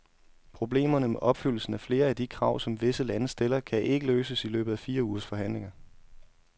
Problemerne med opfyldelsen af flere af de krav, som visse lande stiller, kan ikke løses i løbet af fire ugers forhandlinger.